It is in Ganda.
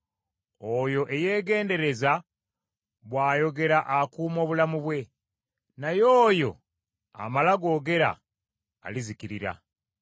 Oyo eyeegendereza by’ayogera akuuma obulamu bwe, naye oyo amala googera, alizikirira.